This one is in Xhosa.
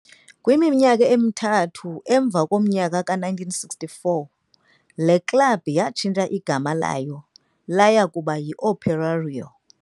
Kwiminyaka emithathu kamva, ngowe-1946, le klabi yatshintsha igama layo laya kuba yiOperário.